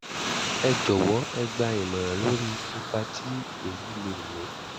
ẹ jọwọ ẹ gbà ìmọ̀ràn lórí ipa tí èyí lè ní